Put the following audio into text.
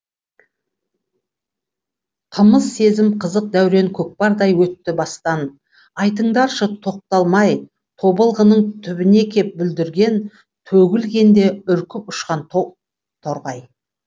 қымыз сезім қызық дәурен көкпардай өтті бастан айтыңдаршы тоқталмай тобылғының түбіне кеп бүлдірген төгілгенде үркіп ұшқан топ торғай